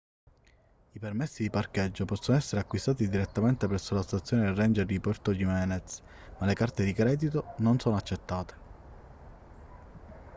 i permessi di parcheggio possono essere acquistati direttamente presso la stazione dei ranger di puerto jiménez ma le carte di credito non sono accettate